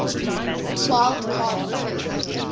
wild card berth